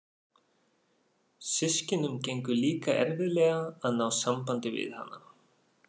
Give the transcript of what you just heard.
Systkinunum gengur líka erfiðlega að ná sambandi við hana.